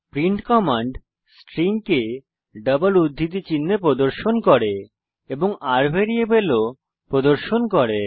print command string কে double উদ্ধৃতি চিনহে প্রদর্শন করে এবং r ভ্যারিয়েবল ও প্রদর্শন করে